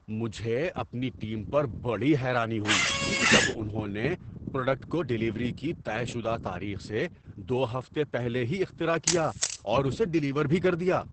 مجھے اپنی ٹیم پر بڑی حیرانی ہوئی جب انہوں نے پروڈکٹ کو ڈلیوری کی طے شدہ تاریخ سے دو ہفتے پہلے ہی اختراع کیا اور اسے ڈلیور بھی کر دیا۔